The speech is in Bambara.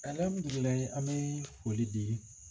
an bɛ foli di